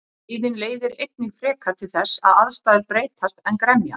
Reiðin leiðir einnig frekar til þess að aðstæður breytast en gremja.